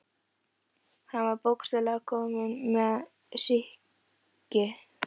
Hann var bókstaflega kominn með sýki.